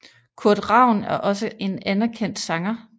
Kurt Ravn er også en anerkendt sanger